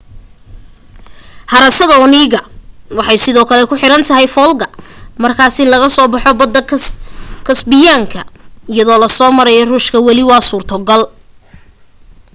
harada onega waxay sidoo kale ku xiran folga markaas in laga soo baxo badda kasbiyaanka iyadoo la soo marayo ruushka wali waa suurtogal